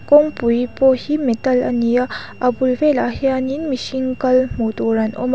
kawngpui pawh hi metal a ni a a bul velah hianin mihring kal hmuh tur an awm a.